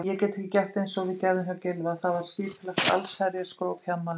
Ég get ekki gert einsog við gerðum hjá Gylfa, það er skipulagt allsherjarskróp í afmælinu.